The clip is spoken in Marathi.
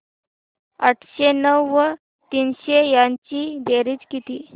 आठशे नऊ व तीनशे यांची बेरीज किती